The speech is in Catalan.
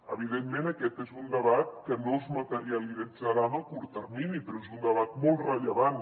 evidentment aquest és un debat que no es materialitzarà en el curt termini però és un debat molt rellevant